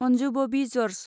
Anju Bobby George